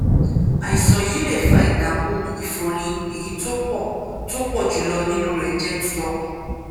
àìsàn yìí lè fa ìdààmú ìfunrin èyí tó pọ tó pọ jù lọ nínú rẹ jẹ ti ọkan